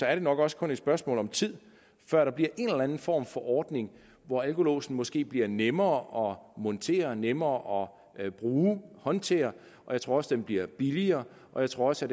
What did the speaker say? er det nok også kun et spørgsmål om tid før der bliver en eller anden form for ordning hvor alkolåsen måske bliver nemmere at montere nemmere at bruge og håndtere og jeg tror også at den bliver billigere jeg tror også